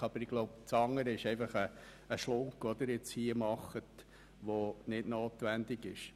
Aber ich glaube, die glpFraktion macht hier einfach eine Schlaufe, die nicht notwendig ist.